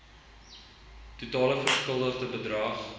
totale verskuldigde bedrag